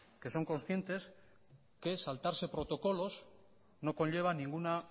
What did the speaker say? que son conscientes que saltarse protocolos no conlleva ninguna